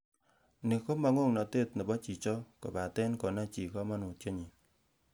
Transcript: Ni komo ng'oknotet nebo chichok kobaten konai chii komonutienyin.